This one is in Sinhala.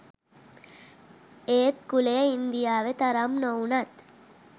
ඒත් කුලය ඉංදියාවෙ තරම් නොවුනත්